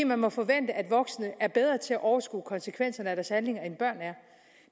man må forvente at voksne er bedre til at overskue konsekvenserne af deres handlinger end børn er